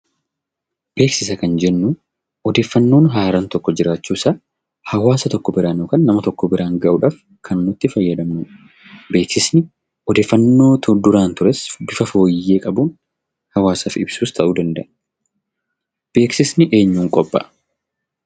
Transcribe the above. Beeksisa kan jennu odeeffannoon haaraan tokko jiraachuusaa hawaasa biraan yookaan nama tokko biraan gahuudhaaf kan nu itti fayyadamnudha. Beeksifni odeeffannoo duraan tures bifa fooyyee qabuun hawaasaaf ibsuus ta'uu danda'a. Beeksifni eenyuun qophaa'a?